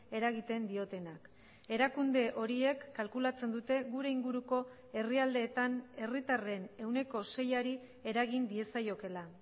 eragiten diotenak erakunde horiek kalkulatzen dute gure inguruko herrialdeetan herritarren ehuneko seiari eragin diezaiokeela